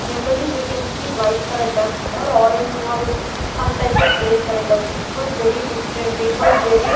Generally we can see white colour duck or orange or some type of gray colour ducks it was very different it was very --